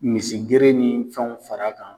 Misi gere ni fɛnw fara kan